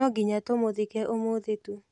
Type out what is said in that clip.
No nginya tũmũthike ũmũthĩ tu.